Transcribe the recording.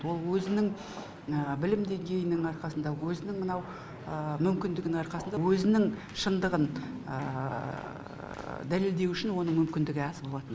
ол өзінің білім деңгейінің арқасында өзінің мынау мүмкіндігінің арқасында өзінің шындығын дәлелдеу үшін оның мүмкіндігі аз болатын